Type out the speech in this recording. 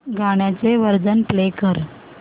गाण्याचे version play कर